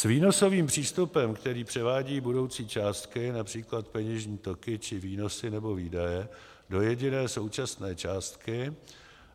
s výnosovým přístupem, který převádí budoucí částky, například peněžní toky či výnosy nebo výdaje, do jediné současné částky.